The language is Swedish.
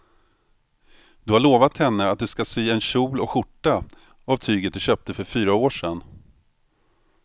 Du har lovat henne att du ska sy en kjol och skjorta av tyget du köpte för fyra år sedan.